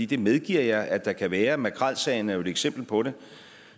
det medgiver jeg at der kan være og makrelsagen er jo et eksempel på det